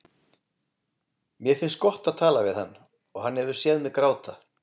Mér finnst gott að tala við hann og hann hefur séð mig gráta.